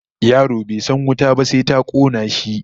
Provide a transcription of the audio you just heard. Yaro bai san wuta ba sai ta kona shi